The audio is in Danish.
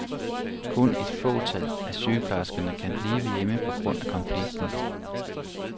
Kun et fåtal af sygeplejerskerne kan blive hjemme på grund af konflikten.